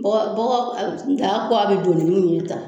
Bɔgɔ bɔgɔ daga kɔ bɛ don ni min ye tan.